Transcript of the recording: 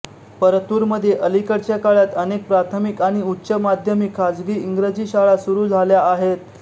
परतूरमध्ये अलीकडच्या काळात अनेक प्राथमिक आणि उच्च माध्यमिक खाजगी इंग्रजी शाळा सुरू झाल्या आहेत